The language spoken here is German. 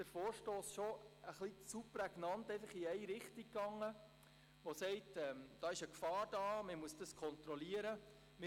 Der Vorstoss geht uns etwas zu prägnant in die Richtung, dass dort Gefahr bestehe und kontrolliert werden müsse.